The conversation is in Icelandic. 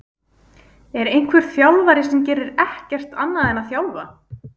Er einhver þjálfari sem gerir ekkert annað en að þjálfa?